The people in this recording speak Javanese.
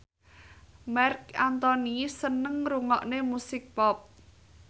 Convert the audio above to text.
Marc Anthony seneng ngrungokne musik pop